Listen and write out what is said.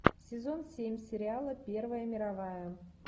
сезон семь сериала первая мировая